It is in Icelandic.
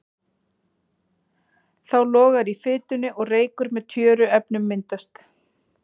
Þá logar í fitunni og reykur með tjöruefnum myndast.